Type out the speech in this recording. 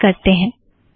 संचय करते हैं